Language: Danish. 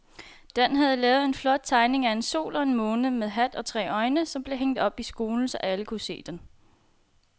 Dan havde lavet en flot tegning af en sol og en måne med hat og tre øjne, som blev hængt op i skolen, så alle kunne se den.